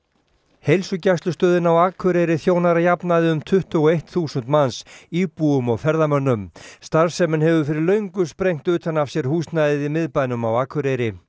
heilsugæslustöðin á Akureyri þjónar að jafnaði um tuttugu og eitt þúsund manns íbúum og ferðamönnum starfsemin hefur fyrir löngu sprengt utan af sér húsnæðið í miðbænum á Akureyri